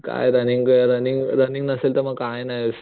काय running running running नसेल तर मग काय नाही.